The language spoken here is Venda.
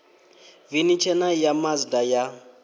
veni tshena ya mazda ya